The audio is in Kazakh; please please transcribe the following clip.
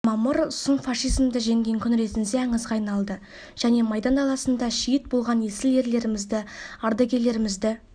мамыр сұм фашизмді жеңген күн ретінде аңызға айналды және майдан даласында шейіт болған есіл ерлерімізді ардагерлерімізді